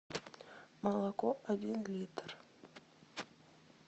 молоко один литр